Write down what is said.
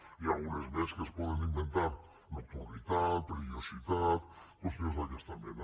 n’hi ha algunes més que es poden inven tar nocturnitat perillositat qüestions d’aquesta mena